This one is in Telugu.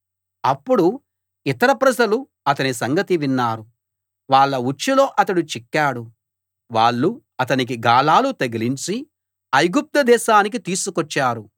అప్పుడు ఇతర ప్రజలు అతని సంగతి విన్నారు వాళ్ళ ఉచ్చులో అతడు చిక్కాడు వాళ్ళు అతనికి గాలాలు తగిలించి ఐగుప్తు దేశానికి తీసుకొచ్చారు